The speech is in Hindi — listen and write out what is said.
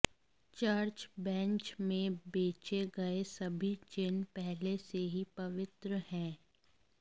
चर्च बेंच में बेचे गए सभी चिह्न पहले से ही पवित्र हैं